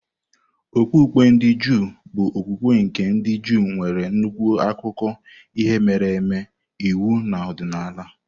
Okpukpe ndị Juu bụ okwukwe nke ndị Juu, nwere nnukwu akụkọ ihe mere eme, iwu na ọdịnala.